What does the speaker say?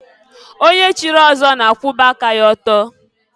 Onye chiri ọzọ na-akwụba aka ya ọtọ.